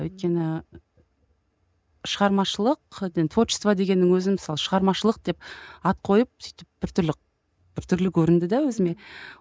өйткені шығармашылық творчество дегеннің өзі мысалы шығармашылық деп ат қойып сөйтіп біртүрлі біртүрлі көрінді де өзіме